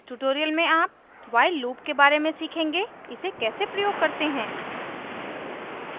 इस tutorial में आप while loop के बारे में सीखेंगे इसे कैसे प्रयोग करते हैं